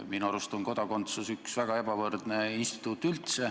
Minu arust on kodakondsus üldse üks väga ebavõrdne instituut.